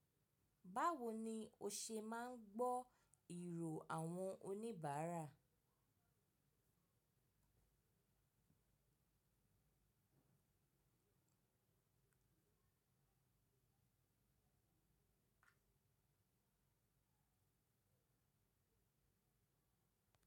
Báwo ni o ṣe máa ń gbọ́ ìrò àwọn oníbàárà?